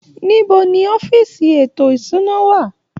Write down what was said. Níbo ni ọ́fíìsì ètò ìṣúná wà?